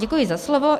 Děkuji za slovo.